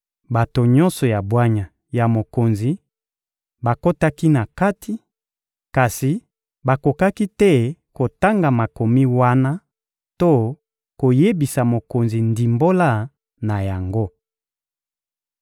Bato nyonso ya bwanya ya mokonzi bakotaki na kati, kasi bakokaki te kotanga makomi wana to koyebisa mokonzi ndimbola na yango.